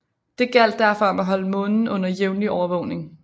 Det gjaldt derfor om at holde Månen under jævnlig overvågning